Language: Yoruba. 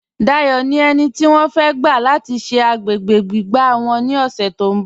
Dáyọ̀ ni ènì tí wọ́n fẹ̀ gba lati ṣẹ̀ agbègbè gbígbà wọ́n ni ọṣẹ̀ tó nbọ̀.